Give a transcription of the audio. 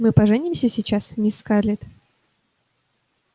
мы поженимся сейчас мисс скарлетт